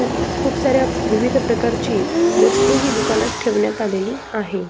खुप साऱ्या विविध प्रकारची वस्तु ही दुकानात ठेवण्यात आलेली आहे.